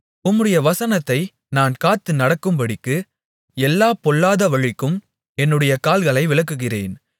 உம்முடைய வசனத்தை நான் காத்து நடக்கும்படிக்கு எல்லா பொல்லாத வழிகளுக்கும் என்னுடைய கால்களை விலக்குகிறேன்